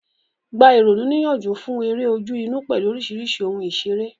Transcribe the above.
Gba ìrònú níyànjú fún eré ojú-inú pẹ̀lú oríṣiríṣi ohun ìṣeré.